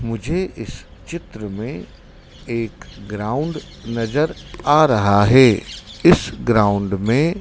मुझे इस चित्र में एक ग्राउंड नजर आ रहा है इस ग्राउंड में --